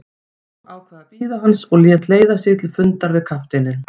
Jón ákvað að bíða hans og lét leiða sig til fundar við kafteininn.